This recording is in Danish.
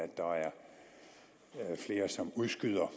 der er flere som udskyder